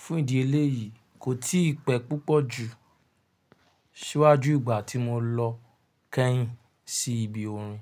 Fún ìdí eléyìí, kò tí pẹ́ púpọ̀ jù ṣíwájú ìgbà tí mo lọ kẹ́yìn sí ibi orin.